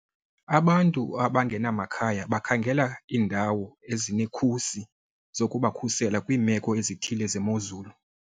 Abantu abangenamakhaya bakhangela iindawo ezinekhusi zokubakhusela kwiimeko ezithile zemozulu.